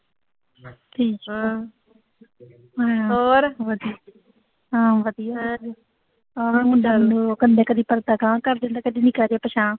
ਵਧੀਆ, ਹਾਂ ਵਧੀਆ ਆਹੋ ਇਹ ਮੰਡੇ ਆਲਿਆ ਨੂੰ ਕਦੀ ਅਗਾਂਹ ਕਰ ਦਿੰਦੀ, ਕਦੀ ਪਿਛਾਂਹ